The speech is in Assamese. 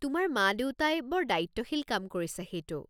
তোমাৰ মা-দেউতাই বৰ দায়িত্বশীল কাম কৰিছে সেইটো।